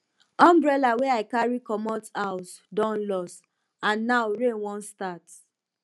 umbrella wey i carry comot house don loss and na now rain wan start